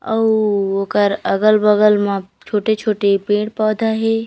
अउ ओखर अगल-बगल में छोटे-छोटे पेड़-पौधा हे।